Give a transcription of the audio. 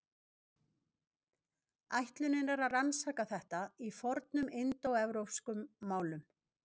Ætlunin er að rannsaka þetta í fornum indóevrópskum málum.